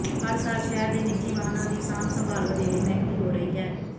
ਹਰ ਸਾਲ ਸ਼ਹਿਰ ਦੇ ਨਿਜੀ ਵਾਹਨਾਂ ਦੀ ਸਾਂਭ ਸੰਭਾਲ ਵਧੇਰੇ ਮਹਿੰਗੀ ਹੋ ਰਹੀ ਹੈ